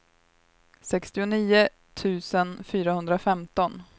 sextionio tusen fyrahundrafemton